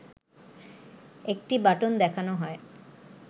একটি বাটন দেখানো হয়